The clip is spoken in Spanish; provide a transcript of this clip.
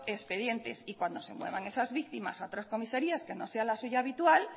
expedientes y cuando se muevan esas víctimas a otras comisarías que no sean la suya habitual